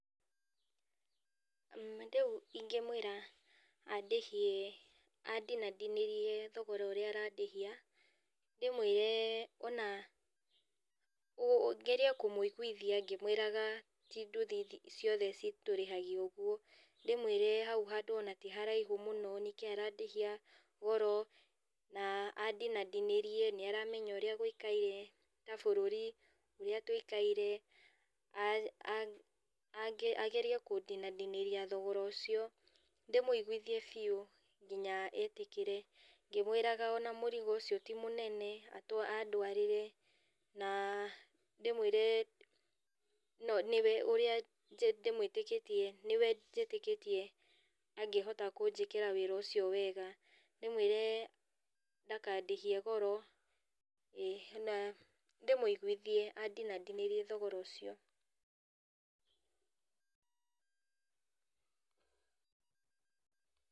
Na rĩu ingĩ mwĩra andĩhie andinandinĩrie thogora ũrĩa arandĩhia, ndĩmwĩre ona ngerie kũmũiguithia ngĩmwĩraga tĩ ndũthi ciothe citũrĩhagia ũguo. Ndĩmwĩre hau handũ ona ti haraihu mũno nĩkĩi arandĩhia goro, na andinandinĩrie, nĩaramenya ũrĩa gũikaire ta bũrũri, ũrĩa tũikaire, a a angĩ ĩgerie kũndinandinĩria thogora ũcio. Ndĩmũiguithie biũ nginya etĩkĩre ngĩmwĩraga ona mũrigo ũcio ti mũnene andwarĩre, na ndĩmwĩre nĩwe ũrĩa njĩ ndĩmwĩtĩkĩtie, nĩwe njĩtĩkĩtie angĩhota kũjĩkĩra wĩra ũcio wega, ndĩmwĩre ndakandĩhie goro, ĩ, na ndĩmũiguithie andinandinĩrie thogora ũcio.